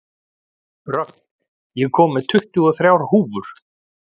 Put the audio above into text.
Rögn, ég kom með tuttugu og þrjár húfur!